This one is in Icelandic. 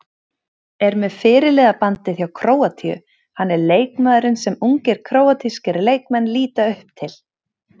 Er með fyrirliðabandið hjá Króatíu, hann er leikmaðurinn sem ungir króatískir leikmenn líta upp til.